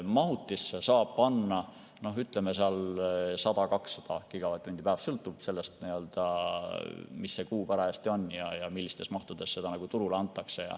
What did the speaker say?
Mahutisse saab panna, ütleme, 100–200 gigavatt‑tundi päevas, sõltub sellest, mis kuu parajasti on ja millistes mahtudes seda turule antakse.